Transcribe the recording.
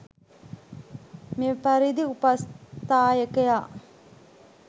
මෙපරිදි උපස්ථායකයා